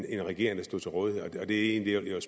en regering der stod til rådighed det er egentlig